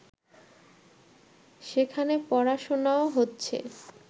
সেখানে পড়াশোনাও হচ্ছে